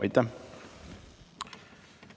Aitäh!